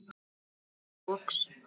spyr ég loks.